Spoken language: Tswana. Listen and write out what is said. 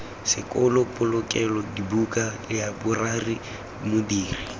sekolo polokelo dibuka laeborari modiri